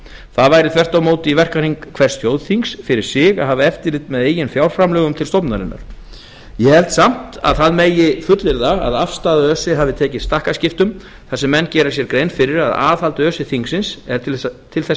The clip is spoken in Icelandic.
það væri þvert á móti í verkahring hvers þjóðþings fyrir sig að hafa eftirliti með eigin fjárframlögum til stofnunarinnar ég held samt að það megi fullyrða að afstaða öse hafi tekið stakkaskiptum þar sem menn gera sér grein fyrir að aðhald öse þingsins er til þess